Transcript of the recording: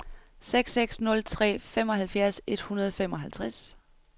seks seks nul tre femoghalvfjerds et hundrede og femoghalvtreds